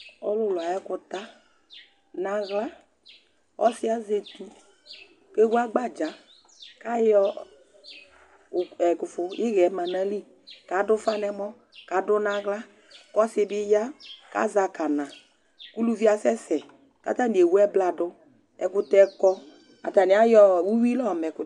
Ɔlʋlʋ ay'ɛkʋta n'aɣla Ɔsi azɛ etu , kewu agbadza, k'ayɔ , ɛkufu, ihɛ ma n'ayili, k'adʋ ʋfa n'ɛmɔ, k'adʋ n 'aɣls , k'ɔsi di bi ya k'azɛ akana, k'uluvi yɛ asɛsɛ, k'atani ewu ɛbladʋ, ɛkʋtɛ kɔ, atani ayɔ uyui la yɔ ma ɛkʋtɛ